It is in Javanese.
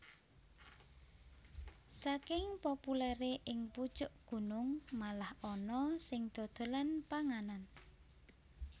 Saking populèré ing pucuk gunung malah ana sing dodolan panganan